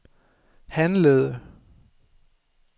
handlede